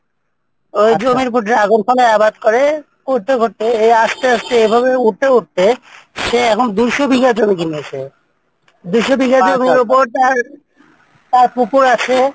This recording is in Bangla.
ওই জমির ওপর dragon ফলের আবাদ করে করতে করতে আসতে আসতে এইভাবে উঠতে উঠতে সে এখন দুইশ বিঘা জমি কিনেছে দুইশ বিঘা জমির ওপর তার, তার পুকুর আছে